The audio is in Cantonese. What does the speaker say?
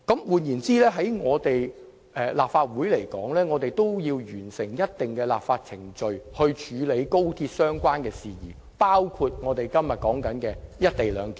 換言之，立法會必須完成某些立法程序以配合與高鐵有關的事宜，其中包括今天討論的"一地兩檢"安排。